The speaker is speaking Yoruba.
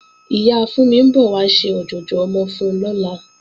Ìyá Fúnmi ń bọ̀ wá ṣe ọ̀jọ̀jọ̀ ọmọ fún lọ́la